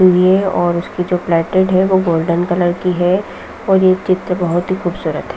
ये और उसकी जो प्लेटेड है वो गोल्डन कलर की है और ये चित्र बहुत ही खूबसूरत है।